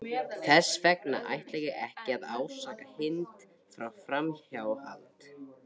Þess vegna ætla ég ekki að ásaka Hind fyrir framhjáhald.